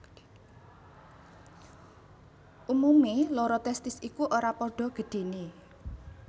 Umumé loro testis iku ora padha gedhené